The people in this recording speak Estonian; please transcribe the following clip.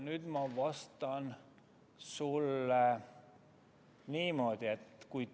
Nüüd ma vastan sulle niimoodi.